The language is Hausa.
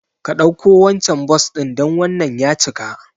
Ka ɗauko wancan Bus ɗin dan wannan ya cika